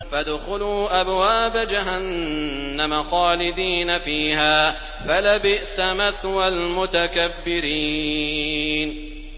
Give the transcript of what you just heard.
فَادْخُلُوا أَبْوَابَ جَهَنَّمَ خَالِدِينَ فِيهَا ۖ فَلَبِئْسَ مَثْوَى الْمُتَكَبِّرِينَ